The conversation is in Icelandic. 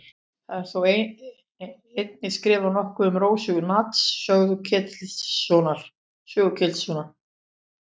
Það er þó einnig skrifað nokkuð um Rósu í Natans sögu Ketilssonar.